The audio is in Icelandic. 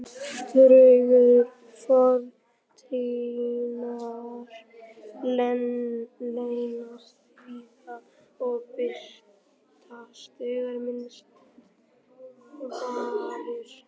Draugar fortíðarinnar leynast víða og birtast þegar minnst varir.